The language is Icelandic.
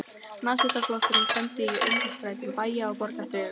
Nasistaflokksins kenndu, að í öngstrætum bæja og borga þrifust